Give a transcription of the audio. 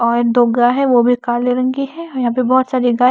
और दो गाय है वो भी काले रंग की यहां पे बहुत सारी गाय--